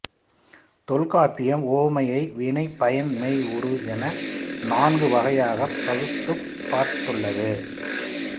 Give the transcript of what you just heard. தொல்காப்பியம் உவமையை வினை பயன் மெய் உரு என நான்கு வகையாகப் பகுத்துப் பார்த்துள்ளது